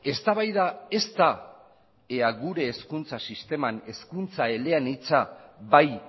eztabaida ez da ea gure hezkuntza sisteman hezkuntza eleanitza bai